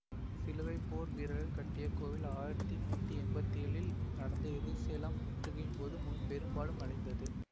சிலுவைப்போர் வீரர்கள் கட்டிய கோவில் ஆயிரத்தி நூத்தி எம்பத்தி ஏழில் நடந்த எருசலேம் முற்றுகையின்போது பெரும்பாலும் அழிந்தது